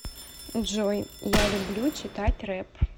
джой я люблю читать реп